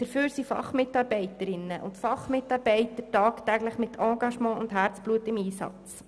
Dafür sind Fachmitarbeiterinnen und Fachmitarbeiter tagtäglich mit Engagement und Herzblut im Einsatz.